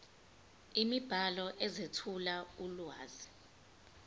imibhalo ezethula ulwazi